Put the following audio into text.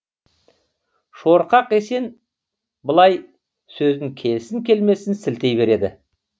шорқақ есен былай сөзін келсін келмесін сілтей береді